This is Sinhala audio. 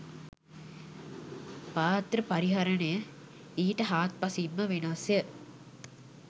පාත්‍ර පරිහරණය ඊට හාත්පසින්ම වෙනස්ය.